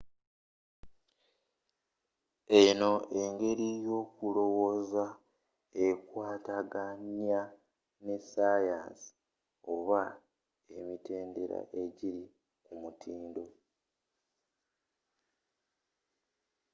eno engeri y'okuloowoza ekwataganya ne ssayansi oba emitendera egiri ku mutindo